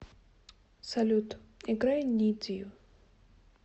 салют играй нид ю